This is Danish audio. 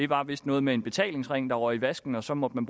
var vist noget med en betalingsring der røg i vasken og så måtte man